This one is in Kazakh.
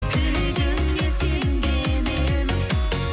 тілегімде сенген едім